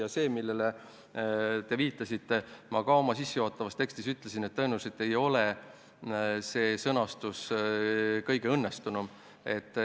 Ja see, millele te viitasite – ma ütlesin ka sissejuhatavas tekstis, et tõenäoliselt ei ole praegune sõnastus kõige õnnestunum.